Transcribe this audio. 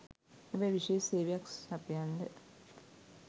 හැබැයි විශේෂ සේවයක් සපයන්ඩ